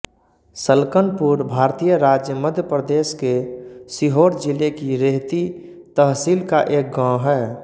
सलकनपुर भारतीय राज्य मध्य प्रदेश के सीहोर जिले की रेहती तहसील का एक गाँव है